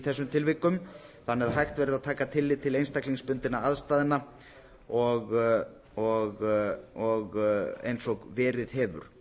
þessum tilvikum þannig að hægt verði að taka tillit til einstaklingsbundinna aðstæðna eins og verið hefur